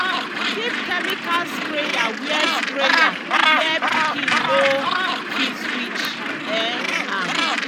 keep chemical sprayer where sprayer where pikin no fit reach um am.